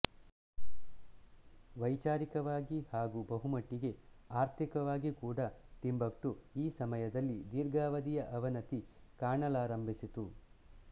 ವೈಚಾರಿಕವಾಗಿ ಹಾಗೂ ಬಹುಮಟ್ಟಿಗೆ ಆರ್ಥಿಕವಾಗಿ ಕೂಡಾ ಟಿಂಬಕ್ಟು ಈ ಸಮಯದಲ್ಲಿ ದೀರ್ಘಾವಧಿಯ ಅವನತಿ ಕಾಣಲಾರಂಭಿಸಿತು